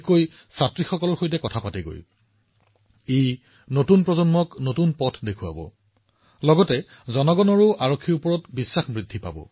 আজি মই আপোনালোকৰ সৈতে এনে এটা বিষয়ৰ বিষয়ে আলোচনা কৰিব বিচাৰো যিটো আমাৰ দেশৰ বিশেষকৈ আমাৰ যুৱ আৰু সৰু লৰাছোৱালীৰ কল্পনাৰ দ্বাৰা আচ্ছন্ন হৈ পৰিছে